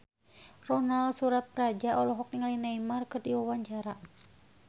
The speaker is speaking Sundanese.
Ronal Surapradja olohok ningali Neymar keur diwawancara